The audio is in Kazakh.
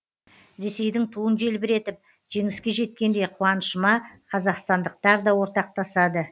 ресейдің туын желбіретіп жеңіске жеткенде қуанышыма қазақстандықтар да ортақтасады